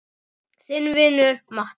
Þinn vinur Matti.